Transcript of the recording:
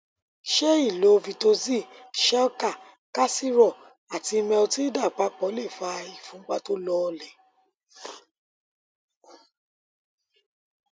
ṣé ìlo vitoxy shelcal calcirol ati metilda papọ lè fa ìfúnpá tó lọọlẹ